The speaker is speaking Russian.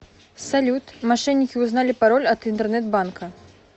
салют мошенники узнали пароль от интернет банка